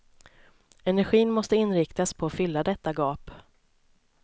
Energin måste inriktas på att fylla detta gap.